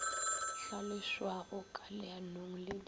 hlaloswago ka leanong le di